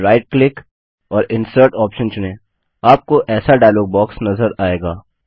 फिर right click और insert option चुनें आपको ऐसा डायलॉग बॉक्स नज़र आएगा